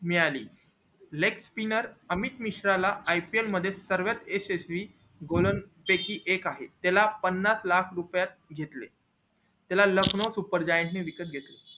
मिळाली अमित मिश्रा ला ipl मध्ये सर्वात यशस्वी गोलांफेकी एक आहे ज्याला पन्नास लाख रुपयात घेतले त्याला लखनऊ ने विकत घेतले